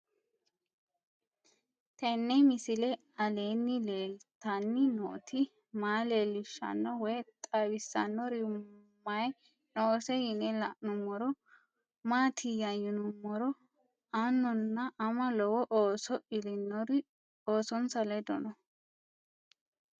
Tenni misile aleenni leelittanni nootti maa leelishshanno woy xawisannori may noosse yinne la'neemmori maattiya yinummoro aanunna ama lowo ooso illinori oosonsa ledo noo